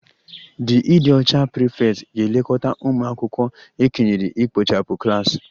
The ịdị ọcha prefect ga-elekọta ụmụ akwụkwọ e kenyere ikpochapụ klas